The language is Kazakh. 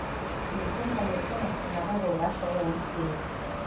ертең таңертең астанаға жолға шығуымыз керек